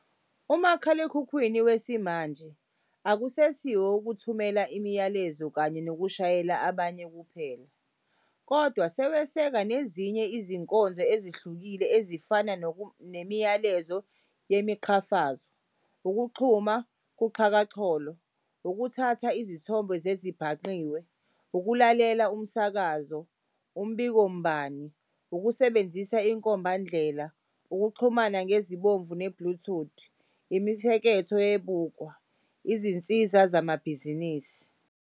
Umakhalekhukhwini wesimanje akusesiwo owokuthumela imilayezo kanye nokushayela abanye kuphela, kodwa weseka nezinye izinkonzo ezihlukile ezifana nemiyalezo yemiqhafazo, ukuxhuma kuxhakaxholo, ukuthatha izithombe zezibhangqiwe, ukulalela umsakazo, umbikombani, ukusebenzisa inkombandlela, ukuxhumana ngensibomvu ne"bluetooth", imifeketho yeBukwa, izinsiza zamabhizinisi.